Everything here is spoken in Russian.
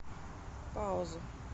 пауза